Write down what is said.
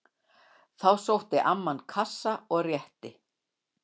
Þá sótti amman kassa og rétti